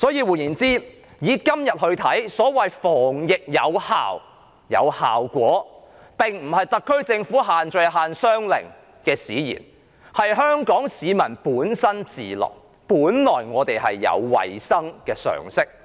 換言之，以今天而言，所謂"防疫有效果"，並非因為特區政府的限聚令或限商令使然，而是香港市民本身自律，是我們本身已有衞生常識。